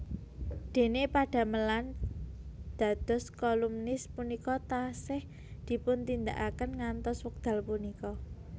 Dene padamelan dados kolumnis punika taksih dipuntindakaken ngantos wekdal punika